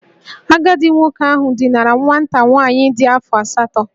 Agadi nwoke ahu dinara nwata nwaanyị di afo asatọ